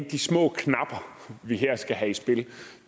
de små knapper vi her skal have i spil